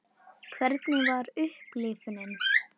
Hvernig var upplifunin?